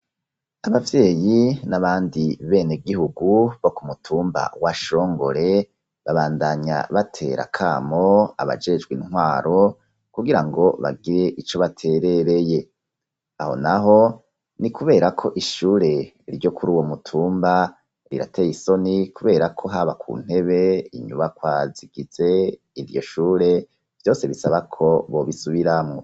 Abavyeyi n'abandi bene gihugu bo kumutumba wa shongore, babandanya batera kamo abajejwe intwaro kugirango bagire ico baterereye, aho naho ni kubera ko ishure ryo kuri uwo mutumba rirateye isoni, kubera ko haba ku ntebe, inyubakwa zigize iryo shure, vyose bisaba ko bobisubiramwo.